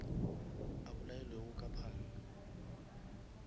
a bolailwego ka panga